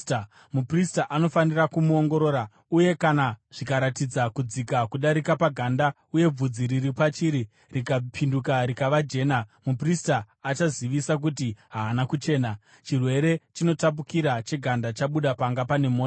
Muprista anofanira kumuongorora uye kana zvikaratidza kudzika kudarika paganda uye bvudzi riri pachiri rikapinduka rikava jena, muprista achazivisa kuti haana kuchena, chirwere chinotapukira cheganda chabuda panga pane mota.